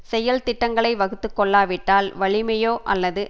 செயல் திட்டங்களை வகுத்து கொள்ளாவிட்டால் வலிமையோ அல்லது